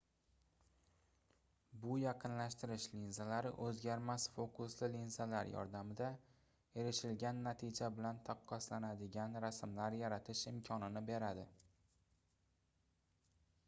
bu yaqinlashtirish linzalari oʻzgarmas fokusli linzalar yordamida erishilgan natija bilan taqqoslanadigan rasmlar yaratish imkonini beradi